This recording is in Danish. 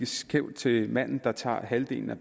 skævt til den mand der tager halvdelen af